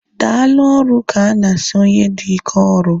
Daalụ ọrụ ka ana asị onye dị ike ọrụ